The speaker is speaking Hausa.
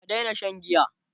ka Daina Shan giya!